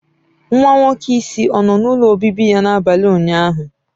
Nwa nwoke isi ọ nọ n'ụlọ obibi ya n'abalị ụnyaahụ?